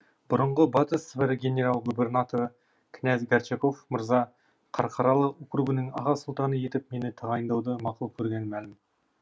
бұрынғы батыс сібір генерал губернаторы князь горчаков мырза қарқаралы округінің аға сұлтаны етіп мені тағайындауды мақұл көргені мәлім